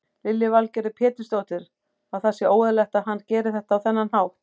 Lillý Valgerður Pétursdóttir: Að það sé óeðlilegt að hann geri þetta á þennan hátt?